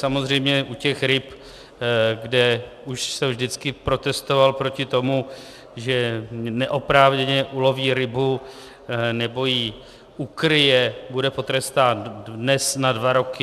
Samozřejmě u těch ryb, kde už jsem vždycky protestoval proti tomu, že neoprávněně uloví rybu, nebo ji ukryje, bude potrestán dnes na dva roky.